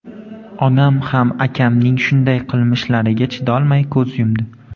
Onam ham akamning shunday qilmishlariga chidolmay ko‘z yumdi.